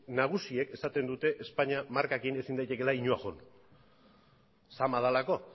nagusiek esaten dute espainia markarekin ezin daitekeela inora joan zama delako